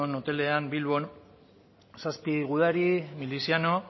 hotelean bilbon zazpi gudari miliziano